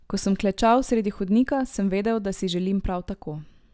Ko sem klečal sredi hodnika, sem vedel, da si želim prav tako.